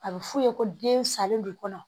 A bɛ f'u ye ko den salen de kɔnɔ